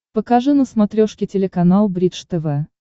покажи на смотрешке телеканал бридж тв